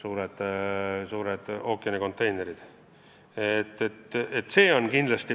Näiteks võib tuua suured ookeanidel sõitvad konteinerilaevad.